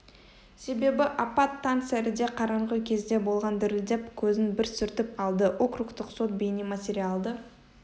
себебі апат таң сәріде қараңғы кезде болған дірілдеп көзін бір сүртіп алды округтык сот бейнематериалды